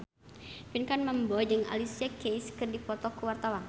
Pinkan Mambo jeung Alicia Keys keur dipoto ku wartawan